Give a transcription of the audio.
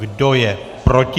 Kdo je proti?